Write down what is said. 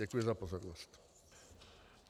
Děkuji za pozornost.